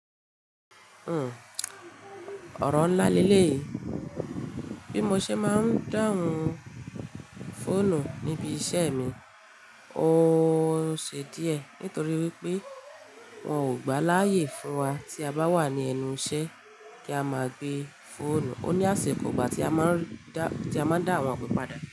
Ọ̀rọ̀ ńlá lele yìí. Bí mo ṣe máa ń dáhùn fóònù níbi iṣẹ́ mi, ó ṣe díẹ̀ nítorí wípé wọn ò gbà láyè fún wa tí a bá wà ní ẹnu iṣẹ́ kí a máa gbé fóònù. Ó ní àṣi kò igbà tí a máa ń dá àwọn ipe padà.